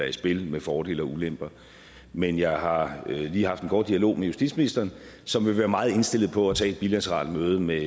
i spil med fordele og ulemper men jeg har lige haft en kort dialog med justitsministeren som vil være meget indstillet på at tage et bilateralt møde med